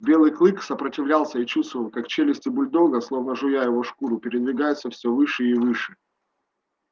белый клык сопротивлялся и чувствовал как челюсти бульдога словно жуя его шкуру передвигаются все выше и выше